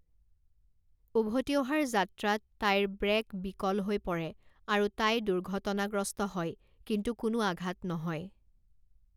উভতি অহাৰ যাত্ৰাত তাইৰ ব্ৰে'ক বিকল হৈ পৰে আৰু তাই দুৰ্ঘটনাগ্ৰস্ত হয়, কিন্তু কোনো আঘাত নহয়।